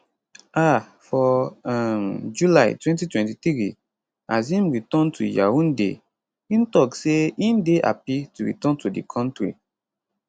um for um july 2023 as im return to yaounde im tok say im dey happy to return to di kontri